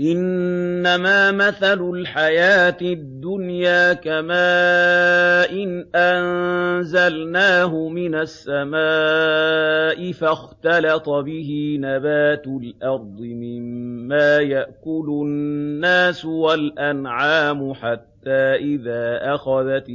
إِنَّمَا مَثَلُ الْحَيَاةِ الدُّنْيَا كَمَاءٍ أَنزَلْنَاهُ مِنَ السَّمَاءِ فَاخْتَلَطَ بِهِ نَبَاتُ الْأَرْضِ مِمَّا يَأْكُلُ النَّاسُ وَالْأَنْعَامُ حَتَّىٰ إِذَا أَخَذَتِ